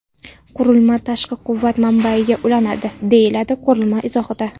Qurilma tashqi quvvat manbayiga ulanadi”, deyiladi qurilma izohida.